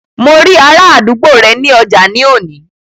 Mo rí ará àdúgbò rẹ ní ọjà ní òní